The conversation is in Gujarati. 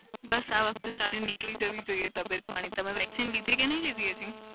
બસ આ વખત સારી નીકળી જવી જોઈએ તબિયત પાણી. તમે vaccine લીધી કે નઈ લીધી હજી?